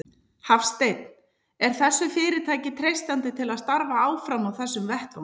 Hafsteinn: Er þessu fyrirtæki treystandi til að starfa áfram á þessum vettvangi?